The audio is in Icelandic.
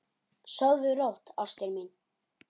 Sofðu rótt, ástin mín.